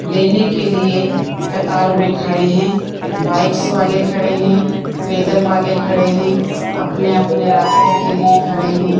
लेने के लिए कतार में खड़े हैं बाइक्स वाले खड़े हैं पैदल वाले खड़े हैं अपने-अपने रास्ते के लिए खड़े है।